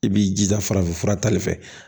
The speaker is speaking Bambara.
I b'i jija farafinfura tali fɛ